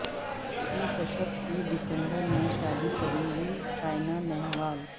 پی کشیپ سے ڈسمبر میں شادی کریں گی سائنا نہوال